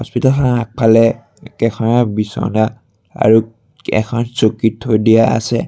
চোতালখনৰ আগফালে কেইখনমান বিছনা আৰু এখন চকী থৈ দিয়া আছে।